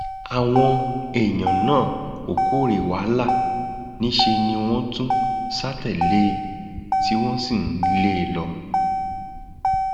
àwọn èèyàn náà kò kòòré wàhálà níṣẹ ni wọn tún sá tẹlé e tí wọn sì ń lé e lọ